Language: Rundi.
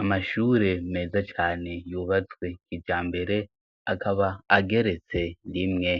Amashure meza cane yubatswe kijambere, akaba ageretse rimwe.